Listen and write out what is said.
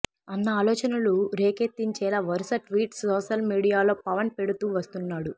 అన్న ఆలోచనలు రేకెత్తించేలా వరుస ట్వీట్స్ సోషల్ మీడియాలో పవన్ పెడుతూ వస్తున్నాడు